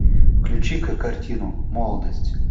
включи ка картину молодость